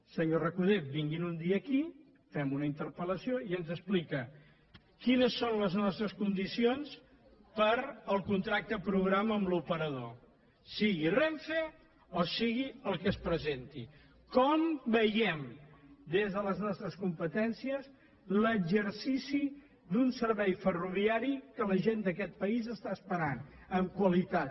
senyor recoder vinguin un dia aquí fem una interpellació i ens explica quines són les nostres condicions per al contracte programa amb l’operador sigui renfe o sigui el que es presenti com veiem des de les nostres competències l’exercici d’un servei ferroviari que la gent d’aquest país espera amb qualitat